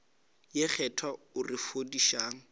ye kgethwa o re fodišang